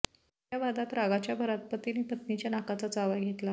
या वादात रागाच्या भरात पतीने पत्नीच्या नाकाचा चावा घेतला